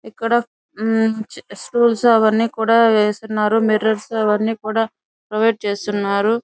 ఇక్కడ మ్ స్టూల్స్ అవన్నీ కూడా వేసున్నారు మిర్రొర్స్ అవన్నీ కూడా ప్రొవిడె చేసున్నారు.